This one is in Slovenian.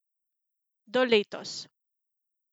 Do letos.